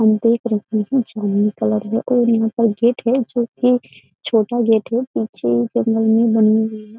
हम देख रहे हैं जामनी कलर है और यहाँ पर गेट है जो कि छोटा गेट है पीछे जंगल में बनी हुई है।